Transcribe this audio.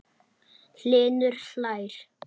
Hlynur hlær.